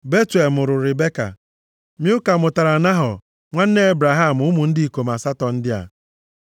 Betuel mụrụ Ribeka. Milka mụtaara Nahọ, nwanne Ebraham ụmụ ndị ikom asatọ ndị a.